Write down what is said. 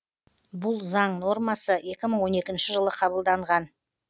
бұл заң нормасы екі мың он екінші жылы қабылданған